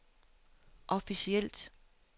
officielt